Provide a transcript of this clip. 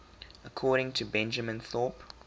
according to benjamin thorpe